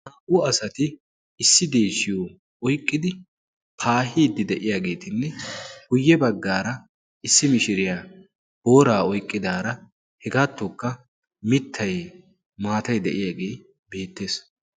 Naa"u asati issi deeshiyo oiqqidi paahiiddi de'iyaageetinne guyye baggaara issi mishiriyaa booraa oiqqidaara hegaattookka mittay maatay de'iyaagee beettees.